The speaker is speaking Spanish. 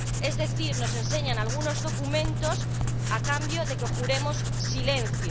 Es decir, nos enseñan algunos documentos a cambio de que juremos silencio